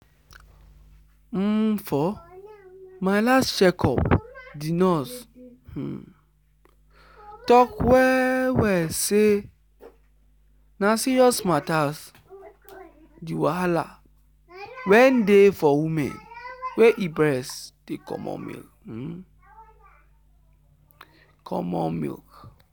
umfor my last check up the nurse um talk well well say na serious matters the wahala wen dey for woman wey e breast dey comot um milk.